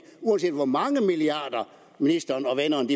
uanset hvor mange milliarder ministeren